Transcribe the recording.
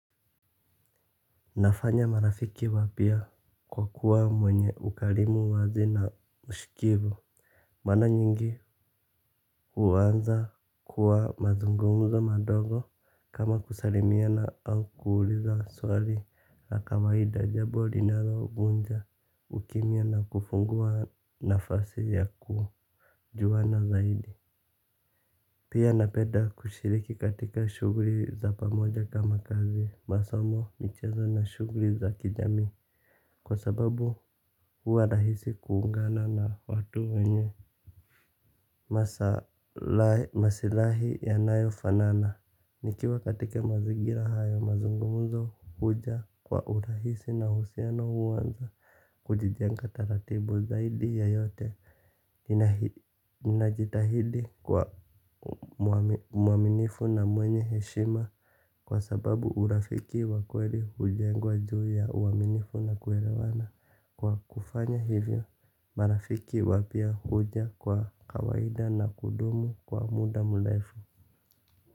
Nafanya marafiki wapya kwa kuwa mwenye ukarimu wazi na ushikivu. Mara nyingi huanza kwa mazungumzo madogo kama kusalimiana au kuuliza swali la kawaida, jambo linalo vunja ukimya na kufungua nafasi ya kujuana zaidi. Pia napenda kushiriki katika shughuli za pamoja kama kazi, masomo, michezo na shughuli za kijamii. Kwa sababu huwa rahisi kuungana na watu wenye masilahi yanayofanana. Nikiwa katika mazingira hayo mazungumzo huja kwa urahisi na uhusiano huanza. Kujijenga taratibu, zaidi ya yote ninajitahidi kuwa muaminifu na mwenye heshima kwa sababu urafiki wa kweli hujengwa juu ya uaminifu na kuelewana. Kwa kufanya hivyo marafiki wapya huja kwa kawaida na kudumu kwa muda mrefu.